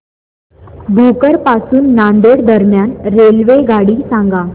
भोकर पासून नांदेड दरम्यान रेल्वेगाडी सांगा